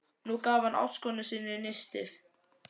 Nú gaf hann ástkonu sinni nistið.